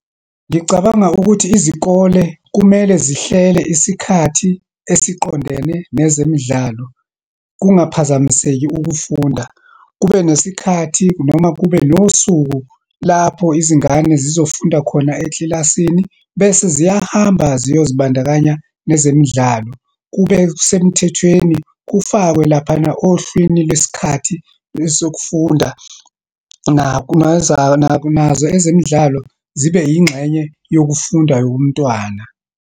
Ngicabanga ukuthi izikole kumele zihlele isikhathi esiqondene nezemidlalo, kungaphazamiseki ukufunda. Kube nesikhathi, noma kube nosuku lapho izingane zizofunda khona ekilasini, bese ziyahamba ziyozibandakanya nezemidlalo. Kube kusemthethweni, kufakwe laphana ohlwini lwesikhathi sokufunda nazo ezemidlalo zibe yingxenye yokufunda yomntwana.